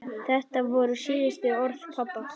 Þetta voru síðustu orð pabba.